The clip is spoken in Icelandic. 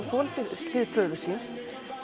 svolítið hlið föður síns